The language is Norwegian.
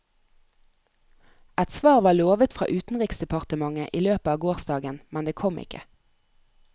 Et svar var lovet fra utenriksdepartementet i løpet av gårsdagen, men det kom ikke.